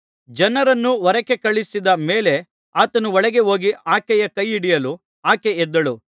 ಜನರನ್ನು ಹೊರಕ್ಕೆ ಕಳುಹಿಸಿದ ಮೇಲೆ ಆತನು ಒಳಗೆ ಹೋಗಿ ಆಕೆಯ ಕೈ ಹಿಡಿಯಲು ಆಕೆ ಎದ್ದಳು